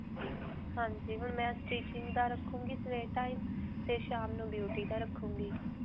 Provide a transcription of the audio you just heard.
ਹਾਂਜੀ. ਹੁਣ ਮੈਂ stitching ਦਾ ਰੱਖੂੰਗੀ ਸਵੇਰ time ਤੇ ਸ਼ਾਮ ਨੂੰ beauty ਦਾ ਰੱਖੂੰਗੀ.